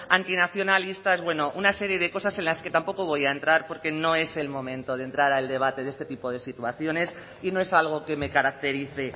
antinacionalistas bueno una serie de cosas en las que tampoco voy a entrar porque no es el momento de entrar al debate de este tipo de situaciones y no es algo que me caracterice